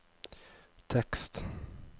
tekst